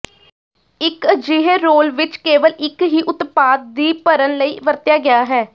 ਇਕ ਅਜਿਹੇ ਰੋਲ ਵਿੱਚ ਕੇਵਲ ਇੱਕ ਹੀ ਉਤਪਾਦ ਦੀ ਭਰਨ ਲਈ ਵਰਤਿਆ ਗਿਆ ਹੈ